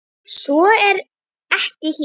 Svo er ekki hér.